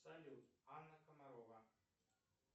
салют анна комарова